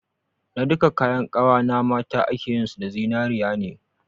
Na duka kayan kawa na mata akeyin su da zinariya ne